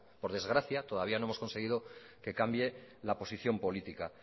por desgracia todavía no hemos conseguido que cambie la posición política